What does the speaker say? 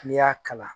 N'i y'a kalan